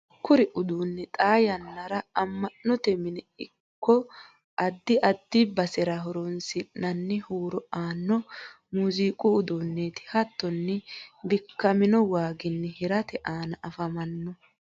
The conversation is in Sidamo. kuri udduunni xaa yannara ama'note mine ikko adda addi basera horoonsi'nanni huuro aanno muziqu udduuneti. hattonni bikkamino waaginni hirate aana afamanno.